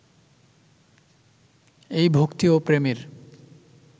এই ভক্তি ও প্রেমের